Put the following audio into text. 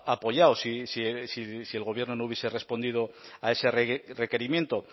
apoyado si el gobierno no hubiese respondido a ese requerimiento